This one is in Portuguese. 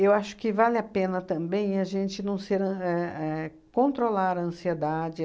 Eu acho que vale a pena também a gente não ser an éh éh controlar a ansiedade.